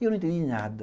E eu não entendi nada.